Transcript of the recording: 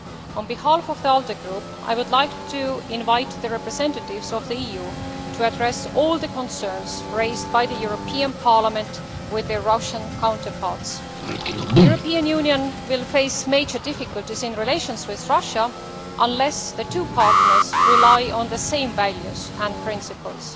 On behalf of the ALDE Group, I would like to invite the representatives of the EU to address all the concerns raised by the European Parliament with their Russian counterparts. The European Union will face major difficulties in relations with Russia unless the two partners rely on the same values and principles.